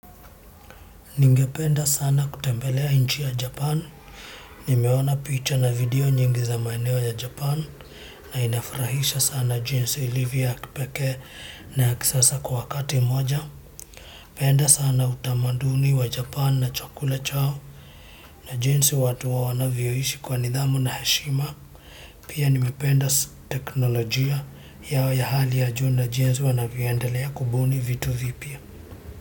Ningependa sana kutembelea nchi ya Japani. Nimeona picha na video nyingi za maeneo ya Japani, na inafurahisha sana jinsi ilivyo ya kipekee na ya kisasa kwa wakati mmoja. Napenda sana utamaduni wa Japani na chakula chao, na jinsi watu wao wanavyoishi kwa nidhamu na heshima. Pia nimependa teknolojia yao ya hali ya juu, jinsi wanavyoendelea kubuni vitu vipya.